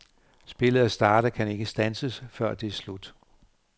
Spillet er startet og kan ikke standses, før det er slut.